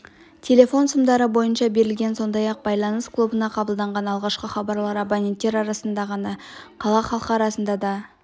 телефон сымдары бойынша берілген сондай-ақ байланыс клубында қабылданған алғашқы хабарлар абоненттер арасында ғана емес қала халқы арасында да